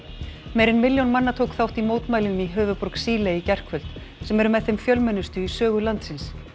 meira en milljón manna tók þátt í mótmælum í höfuðborg Síle í gærkvöld sem eru með þeim fjölmennustu í sögu landsins